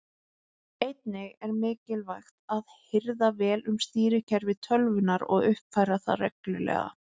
Einnig er mikilvægt að hirða vel um stýrikerfi tölvunnar og uppfæra það reglulega.